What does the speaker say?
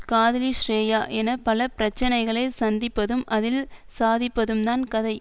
காதலி ஸ்ரேயா என பல பிரச்சனைகளை சந்திப்பதும் அதில் சாதிப்பதும்தான் கதை